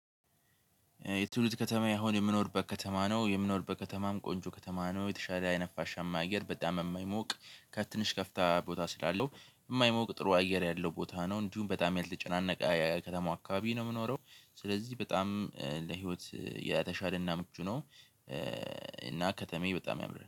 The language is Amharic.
የትውልድ ከተማ አሁን የምኖርበት ከተማ ነው የምኖርበት ከተማም ቆንጆ ከተማ ነው። የተሻለ ነፋሻማ አየር በጣም የማይሞቅ ከትንሽ ከፍታ ቦታ ስላለው የማይሞቅ ጥሩ አየር ያለው ቦታ ነው። እንዲሁም በጣም ያልተጨናነቀ የከተማው አካባቢ ነው የምኖረው ስለዚህ በጣም ለህይወት የተሻለና ምቹ ነው። እና ከተማዬ በጣም ያምራል